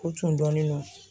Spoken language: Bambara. U tun dɔnnen don.